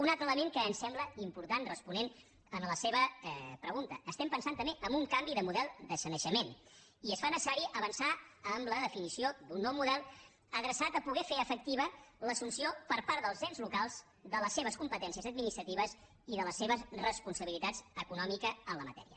un altre element que ens sembla important responent a la seva pregunta pensem també en un canvi de model de sanejament i es fa necessari avançar en la definició d’un nou model adreçat a poder fer efectiva l’assumpció per part dels ens locals de les seves competències administratives i de la seva responsabilitat econòmica en la matèria